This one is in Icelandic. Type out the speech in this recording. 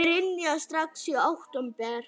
Brynja: Strax í október?